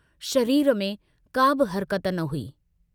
शरीर में काबि हरकत न हुई।